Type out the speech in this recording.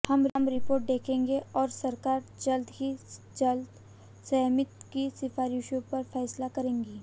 हम रिपोर्ट देखेंगे और सरकार जल्द से जल्द समिति की सिफारिशों पर फैसला करेगी